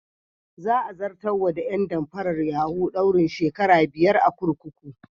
Za a zartar wa ƴan damfarar yahu daurin shekara biyar a kurkuku.